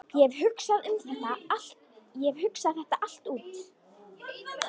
Ég hef hugsað þetta allt út.